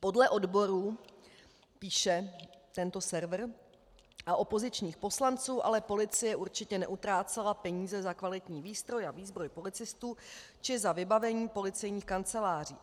Podle odborů, píše tento server, a opozičních poslanců ale policie určitě neutrácela peníze za kvalitní výstroj a výzbroj policistů či za vybavení policejních kanceláří.